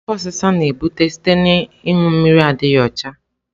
Afo osisa na-ebute site na ịṅụ mmiri adịghị ọcha.